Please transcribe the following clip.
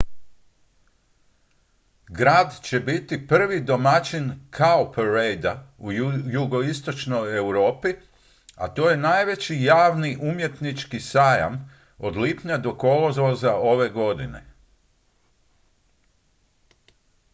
grad će biti prvi domaćin cowparadea u jugoistočnoj europi a to je najveći javni umjetnički sajam od lipnja do kolovoza ove godine